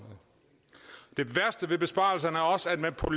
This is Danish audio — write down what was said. det værste ved besparelserne er også at man på